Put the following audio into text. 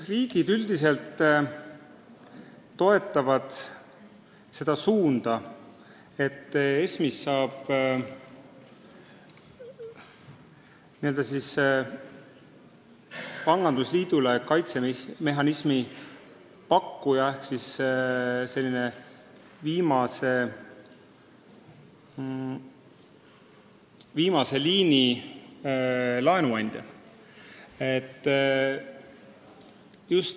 Riigid üldiselt toetavad seda suunda, et ESM-ist saab n-ö pangandusliidule kaitsemehhanismi pakkuja ehk viimase liini laenuandja.